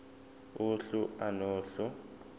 uhlu a nohlu